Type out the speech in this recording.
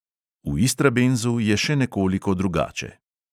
V istrabenzu je še nekoliko drugače.